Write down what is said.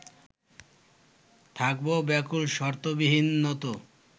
থাকবো ব্যাকুল শর্তবিহীন নত